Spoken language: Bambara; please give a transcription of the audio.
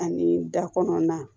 Ani da kɔnɔna